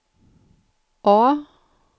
A